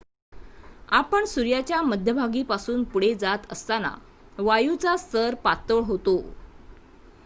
आपण सूर्याच्या मध्यभागीपासून पुढे जात असताना वायूचा स्तर पातळ होतो